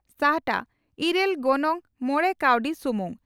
ᱥᱟᱦᱴᱟ ᱺ ᱤᱨᱟᱹᱞ , ᱜᱚᱱᱚᱝ ᱺ ᱢᱚᱲᱮ ᱠᱟᱣᱰᱤ ᱥᱩᱢᱩᱝ